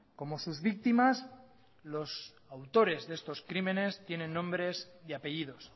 como sus víctimas los autores de estos crímenes tienen nombres y apellidos